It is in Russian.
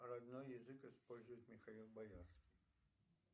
родной язык использует михаил боярский